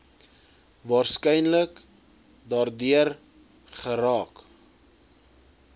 waarskynlik daardeur geraak